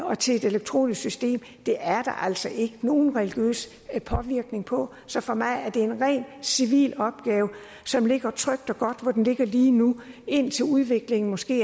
og til et elektronisk system er altså ikke nogen religiøs påvirkning på så for mig er det en ren civil opgave som ligger trygt og godt hvor den ligger lige nu indtil udviklingen måske